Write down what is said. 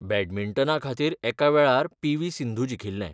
बॅडमिंटना खातीर एका वेळार पी.व्ही.सिंधु जिखिल्लें.